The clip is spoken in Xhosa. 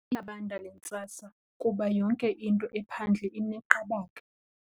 Iyabanda le ntsasa kuba yonke into ephandle ineqabaka.